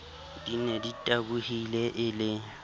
di ne ditabohile e le